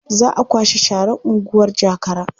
Za a kwashe sharar unguwar Jakara.